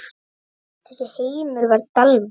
Þessi heimur var Dalvík.